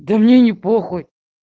да мне не похуй